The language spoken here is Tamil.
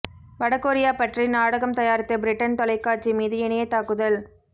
வட கொரியா பற்றி நாடகம் தயாரித்த பிரிட்டன் தொலைக்காட்சி மீது இணையத் தாக்குதல்